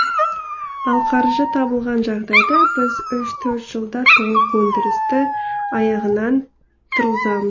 ал қаржы табылған жағдайда біз үш төрт жылда толық өндірісті аяғынан тұрғызамыз